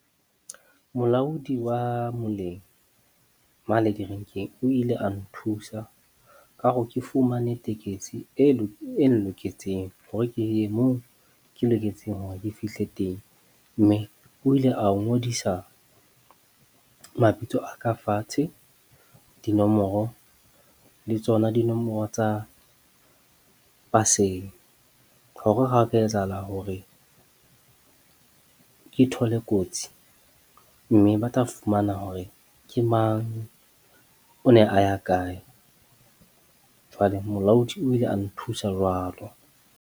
Molaodi wa moleng mane direnkeng o ile a nthusa ka hore ke fumane tekesi e nloketseng hore ke ye mong ke loketseng hore ke fihle teng. Mme o ile a ho ngodisa mabitso a ka fatshe, dinomoro le tsona dinomoro tsa paseng, hore ha ho ka etsahala hore ke thole kotsi mme ba tla fumana hore ke mang. O ne a ya kae. Jwale molaodi o ile a nthusa jwalo.